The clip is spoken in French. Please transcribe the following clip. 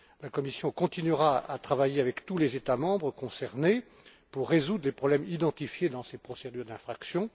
La Commission continuera à travailler avec tous les États membres concernés pour résoudre les problèmes identifiés dans ces procédures d'infraction.